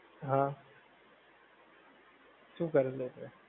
હાં, શું કરેલું તે?